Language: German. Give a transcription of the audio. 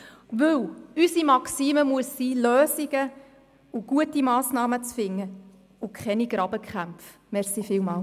Denn unsere Maxime muss sein, Lösungen und gute Massnahmen zu finden und auf Grabenkämpfe zu verzichten.